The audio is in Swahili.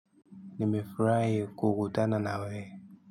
Nimefurahi kukutana na wewe.